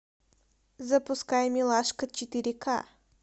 запускай милашка четыре ка